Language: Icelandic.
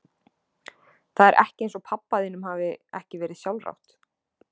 Það er ekki eins og pabba þínum hafi ekki verið sjálfrátt.